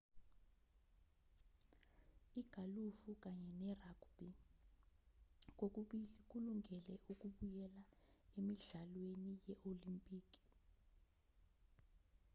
igalufu kanye nerugbhi kokubili kulungele ukubuyela emidlalweni ye-olimpiki